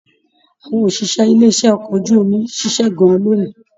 Àwọn òṣìṣẹ́ ilé iṣẹ okọ̀ ojú omi ṣiṣẹ gan-an lóni.